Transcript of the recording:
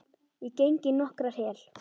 Ég geng í nokkrar hel